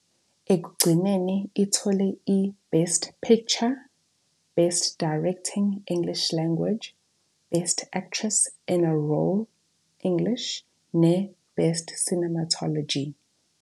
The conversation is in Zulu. Ekugcineni ithole iBest Picture, Best Directing, English Language, Best Actress in a Role Role, English, neBest Cinematography.